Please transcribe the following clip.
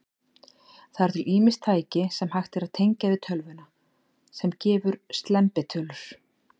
Það eru til ýmis tæki, sem hægt er að tengja við tölvuna, sem gefa slembitölur.